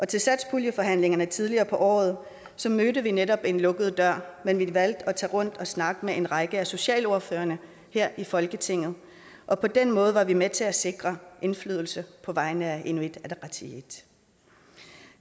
til satspuljeforhandlingerne tidligere på året mødte vi netop en lukket dør men vi valgte at tage rundt og snakke med en række af socialordførerne her i folketinget og på den måde var vi med til at sikre indflydelse på vegne af inuit ataqatigiit